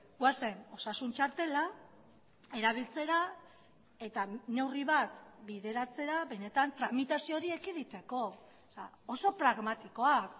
goazen osasun txartela erabiltzera eta neurri bat bideratzera benetan tramitazio hori ekiditeko oso pragmatikoak